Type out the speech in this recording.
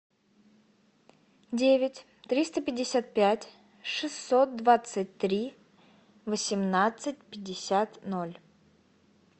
девять триста пятьдесят пять шестьсот двадцать три восемнадцать пятьдесят ноль